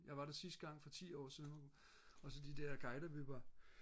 jeg var der sidste gang for ti år siden og så de der guider vi var